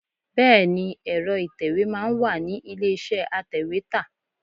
Bẹẹni, èro ìtẹ̀wẹ́ máa ń wà ní ilé iṣẹ́ atèwétà.